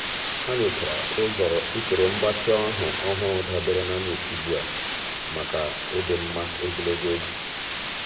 há nyòchàrà usoro mgbatị ahụ́ ọ́hụ́rụ́ dabere na nyocha ugbu a màkà ịdị mma ogologo oge.